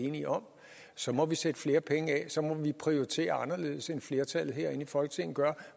enige om så må vi sætte flere penge af og så må vi prioritere anderledes end flertallet herinde i folketinget gør